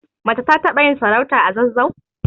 Mace ta taɓa yin sarauta a zazzau